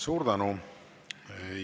Suur tänu!